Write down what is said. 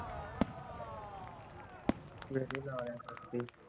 ਗੇੜ੍ਹੇ ਲਾਇਆ ਕਰ